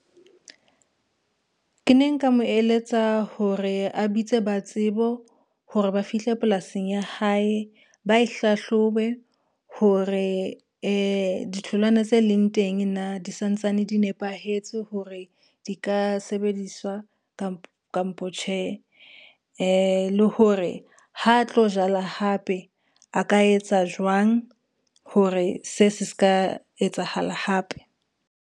Ke ne nka mo eletsa hore a bitse ba tsebo, hore ba fihle polasing ya hae ba e hlahlobe hore ditholwana tse leng teng na di santsane di nepahetse hore di ka sebediswa kampo tjhe? Le hore ha tlo jala hape a ka etsa jwang hore se se ska etsahala hape.